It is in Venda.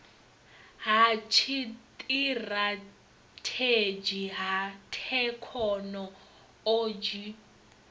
ha tshiṱirathedzhi ha thekhono odzhi